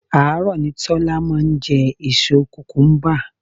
Àárọ̀ ni Tọ́lá máa ń jẹ èso kukumuba.